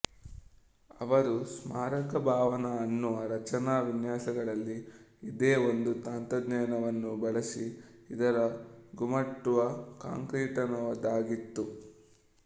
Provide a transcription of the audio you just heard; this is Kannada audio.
ಅವರು ಸ್ಮಾರಕ ಭವನ ಅನ್ನುವ ರಚನಾ ವಿನ್ಯಾಸಗಳಲ್ಲಿ ಇದೇ ಒಂದು ತಂತ್ರಜ್ಞಾನವನ್ನು ಬಳಸಿ ಇದರ ಗುಮ್ಮಟವು ಕಾಂಕ್ರೀಟನದಾಗಿತ್ತು